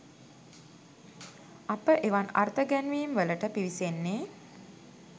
අප එවන් අර්ථ ගැන්වීම්වලට පිවිසෙන්නේ